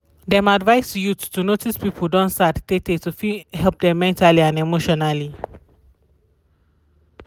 dem advice youth to notice people don sad tey tey to fit help dem mentally and emotionally